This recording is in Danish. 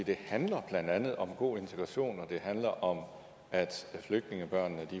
det handler blandt andet om god integration og det handler om at flygtningebørnene